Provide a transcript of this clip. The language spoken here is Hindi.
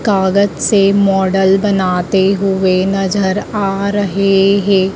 कागज से मॉडल बनाते हुएं नजर आ रहे हैं।